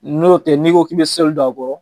N'o tɛ, n'i ko k'i bɛ sɔli don a kɔrɔ,